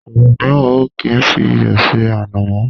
Àwọn míràn o kí ń fí iyọ̀ se ànàmọ́.